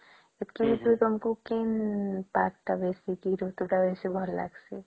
ସେତକୀ ଭିତରୁ ତମକୁ କିନ part ତା ବେଶୀ କି ଋତୁ ତା ବେଶୀ ଭଲ ଲାଗୁଛେ